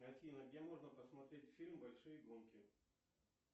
афина где можно посмотреть фильм большие гонки